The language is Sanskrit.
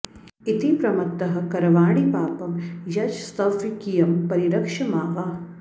इति प्रमत्तः करवाणि पापं यशस्त्वकीयं परिरक्ष मा वा